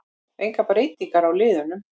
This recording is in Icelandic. Engar breytingar á liðunum